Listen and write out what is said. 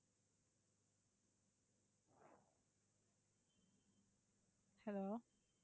hello